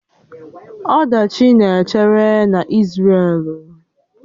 Ọdachi na-echere na Isrelu